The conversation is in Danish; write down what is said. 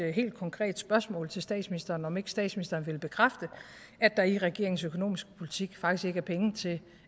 helt konkret spørgsmål til statsministeren nemlig om ikke statsministeren vil bekræfte at der i regeringens økonomiske politik faktisk ikke er penge til